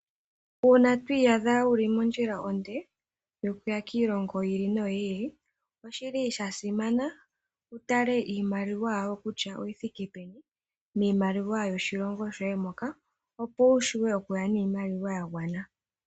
Uuna to iyadha wuli mondjila onde yokuya kiilongo yi ili noyi ili , oshi li shasimana wutale iimaliwaa yawo kutya oyi thike peni miimaliwa yoshilongo shoye moka, opo wushiwe oku ya niimaliwa yagwana.